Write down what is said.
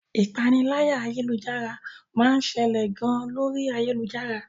Ìpaniláyà ayélujára máa ń ṣẹlẹ̀ gan lórí ayélujára.